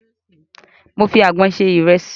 Mo fi àgbọn sẹ ìrẹsì.